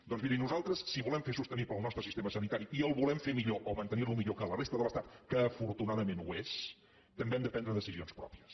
doncs mirin nosaltres si volem fer sostenible el nostre sistema sanitari i el volem fer millor o mantenir lo millor que a la resta de l’estat que afortunadament ho és també hem de prendre decisions pròpies